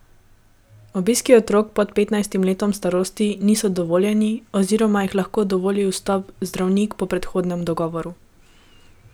Obiski otrok pod petnajstim letom starosti niso dovoljeni oziroma jim lahko dovoli vstop zdravnik po predhodnem dogovoru.